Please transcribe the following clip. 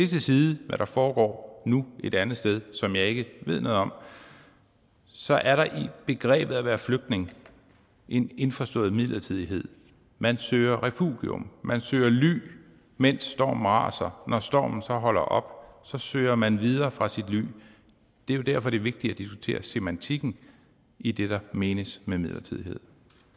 til side hvad der foregår nu et andet sted som jeg ikke ved noget om så er der i begrebet flygtning en indforstået midlertidighed man søger refugium man søger ly mens stormen raser når stormen så holder op søger man videre fra sit ly det er jo derfor det er vigtigt at diskutere semantikken i det der menes med midlertidighed